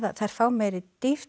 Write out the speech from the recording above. þær fá meiri dýpt